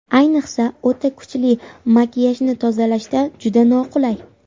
Ayniqsa, o‘ta kuchli makiyajni tozalashda juda qulay.